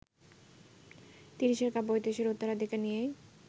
তিরিশের কাব্যঐতিহ্যের উত্তরাধিকার নিয়েই